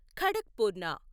ఖడక్పూర్ణ